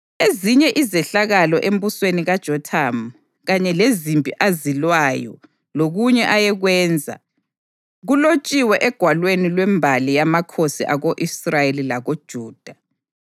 Ezinye izehlakalo embusweni kaJothamu, kanye lezimpi azilwayo lokunye ayekwenza, kulotshiwe egwalweni lwembali yamakhosi ako-Israyeli lakoJuda.